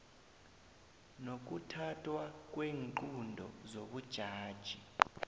nokuthathwa kweenqunto zobujaji